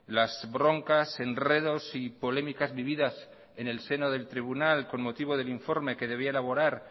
las broncas enredos y polémicas vividas en el seno del tribunal con el motivo del informe que debiera elaborar